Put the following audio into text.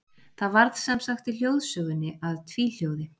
Það varð sem sagt í hljóðsögunni að tvíhljóði.